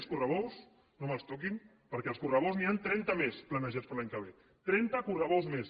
els correbous no me’ls toquin perquè els correbous n’hi ha trenta més planejats per a l’any que ve trenta correbous més